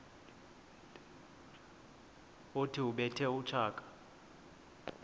othi ubethe utshaka